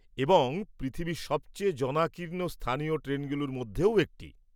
এবং পৃথিবীর সবচেয়ে জনাকীর্ণ স্থানীয় ট্রেনগুলোর মধ্যেও একটি।